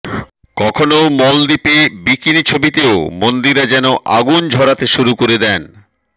কখনও মলদ্বীপে বিকিনি ছবিতেও মন্দিরা যেন আগুন ঝরাতে শুরু করে দেন